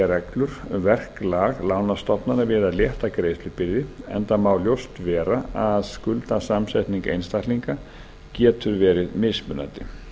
reglur um verklag lánastofnana við að létta greiðslubyrði enda má ljóst vera að skuldasamsetning einstaklinga getur verið mismunandi